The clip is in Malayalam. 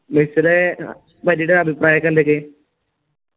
അഭിപ്രായക്കെ എന്തക്കെയാ